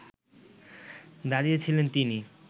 দাঁড়িয়ে ছিলেন তিনি